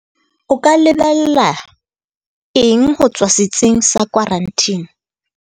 O ka lebella eng ho tswa setsing sa khwaranteni?